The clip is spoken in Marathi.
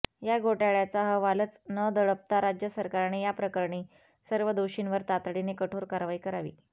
हा घोटाळ्याचा अहवालच न दडपता राज्य सरकारने याप्रकरणी सर्व दोषींवर तातडीने कठोर कारवाई करावी